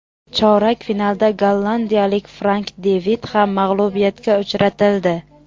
Chorak finalda gollandiyalik Frank De Vit ham mag‘lubiyatga uchratildi.